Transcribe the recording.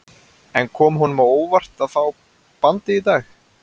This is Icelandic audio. En kom honum á óvart að fá bandið í dag?